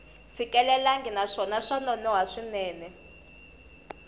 fikelelangi naswona swa nonoha swinene